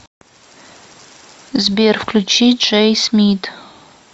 сбер включи джей смит